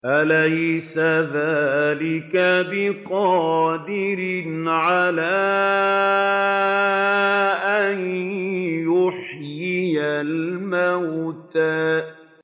أَلَيْسَ ذَٰلِكَ بِقَادِرٍ عَلَىٰ أَن يُحْيِيَ الْمَوْتَىٰ